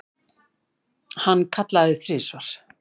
Hann kallaði þrisvar.